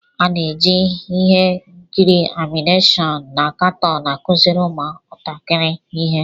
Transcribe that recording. A na-eji ihe nkiri anịmeshọn na katoon akụziri ụmụntakịrị ihe.